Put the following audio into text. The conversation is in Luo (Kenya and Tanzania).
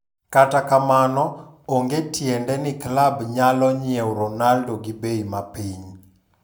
To kata kamano, onge tiende ni klab nyalo nyiew Ronaldo gi bei ma piny.